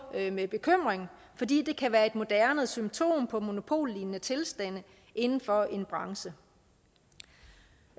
med med bekymring fordi det kan være et moderne symptom på monopollignende tilstande inden for en branche